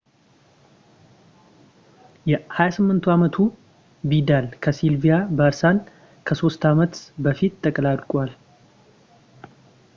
የ28 አመቱ ቪዳል ከሲልቪያ ባርሳን ከሶስት አመት በፊት ተቀላቅሏል